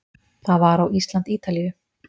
Það var á Ísland- Ítalíu